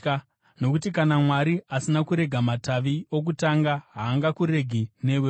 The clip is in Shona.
Nokuti kana Mwari asina kurega matavi okutanga, haangakuregi newewo.